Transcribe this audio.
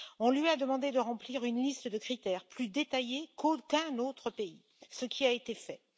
On lui a demandé de remplir une liste de critères plus détaillée qu'aucun autre pays, ce qui a été fait.